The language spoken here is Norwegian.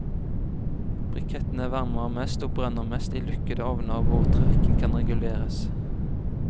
Brikettene varmer mest og brenner best i lukkede ovner hvor trekken kan reguleres.